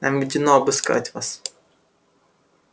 нам ведено обыскать вас